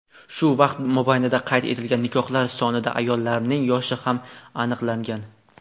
shu vaqt mobaynida qayd etilgan nikohlar sonida ayollarning yoshi ham aniqlangan:.